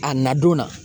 A na don na